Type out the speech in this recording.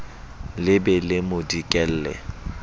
le be le mo dikelle